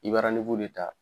I ba de ta